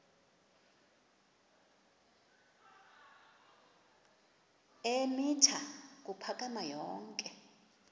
eemitha ukuphakama yonke